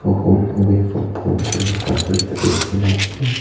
A home away from home kuina pathor ekta tey likhina ase.